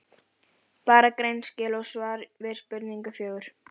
Bara greinaskil og svar við spurningu fjögur.